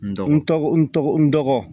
N dɔgɔ n tɔgɔ n tɔgɔ n tɔgɔ